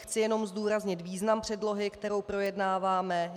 Chci jenom zdůraznit význam předlohy, kterou projednáváme.